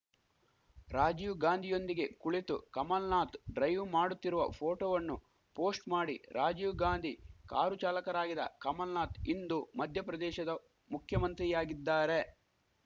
ರಾಜೀವ್‌ ಗಾಂಧಿಯೊಂದಿಗೆ ಕುಳಿತು ಕಮಲ್‌ ನಾಥ್‌ ಡ್ರೈವ್‌ ಮಾಡುತ್ತಿರುವ ಫೋಟೋವಣ್ಣು ಪೋಸ್ಟ್‌ ಮಾಡಿ ರಾಜೀವ್‌ ಗಾಂಧಿ ಕಾರು ಚಾಲಕರಾಗಿದ್ದ ಕಮಲ್‌ನಾಥ್‌ ಇಂದು ಮಧ್ಯಪ್ರದೇಶದ ಮುಖ್ಯಮಂತ್ರಿಯಾಗಿದ್ದಾರೆ